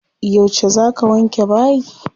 Yauce za ka wanke bayi?